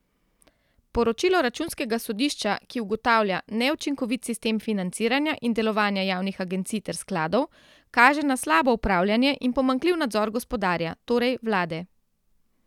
Poročilo računskega sodišča, ki ugotavlja neučinkovit sistem financiranja in delovanja javnih agencij ter skladov, kaže na slabo upravljanje in pomanjkljiv nadzor gospodarja, torej vlade.